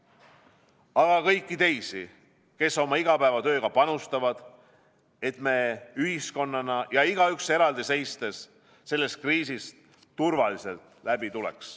Aga tunnustan ka kõiki teisi, kes oma igapäevatööga panustavad, et me ühiskonnana ja igaüks eraldi seistes sellest kriisist turvaliselt läbi tuleks.